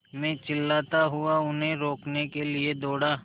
मैं चिल्लाता हुआ उन्हें रोकने के लिए दौड़ा